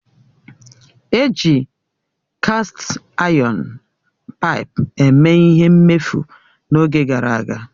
Eji kast ayọn paipu eme ihe mmefu n'oge gara aga